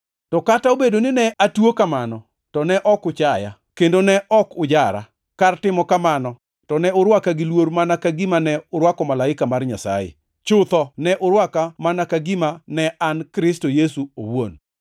To kata obedo ni ne atuo kamano, to ne ok uchaya, kendo ne ok ujara. Kar timo kamano, to ne urwaka gi luor mana ka gima ne urwako malaika mar Nyasaye; chutho ne urwaka mana ka gima ne an Kristo Yesu owuon.